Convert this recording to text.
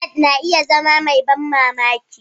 Ballad na iya zama mai ban mamaki.